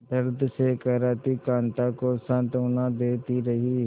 दर्द में कराहती कांता को सांत्वना देती रही